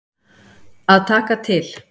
Að taka til.